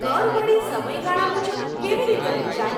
કર વળી સમય ગાળા મુજબ કેવી રીતે વહેંચાય?